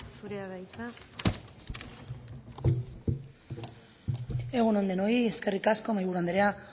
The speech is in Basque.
zurea da hitza egun on denoi eskerrik asko mahaiburu anderea